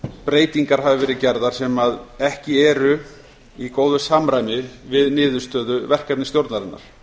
breytingar hafa verið gerðar sem ekki eru í góðu samræmi við niðurstöðu verkefnisstjórnarinnar